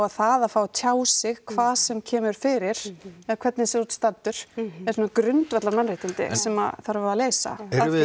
það að fá að tjá sig hvað sem kemur fyrir eða hvernig sem þú ert staddur eru svona grundvallarmannréttindi sem þarf að leysa